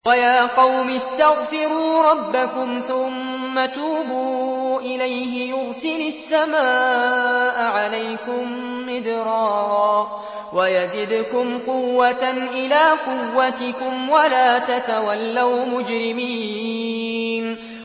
وَيَا قَوْمِ اسْتَغْفِرُوا رَبَّكُمْ ثُمَّ تُوبُوا إِلَيْهِ يُرْسِلِ السَّمَاءَ عَلَيْكُم مِّدْرَارًا وَيَزِدْكُمْ قُوَّةً إِلَىٰ قُوَّتِكُمْ وَلَا تَتَوَلَّوْا مُجْرِمِينَ